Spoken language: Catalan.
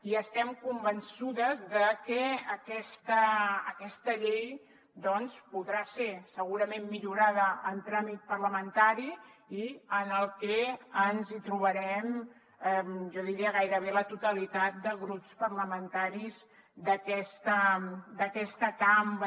i estem convençudes de que aquesta llei doncs podrà ser segurament millorada en tràmit parlamentari en el que ens hi trobarem jo diria que gairebé la totalitat de grups parlamentaris d’aquesta cambra